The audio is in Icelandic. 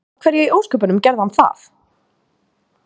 Af hverju í ósköpunum gerði hann það?